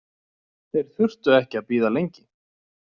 Þeir þurftu ekki að bíða lengi.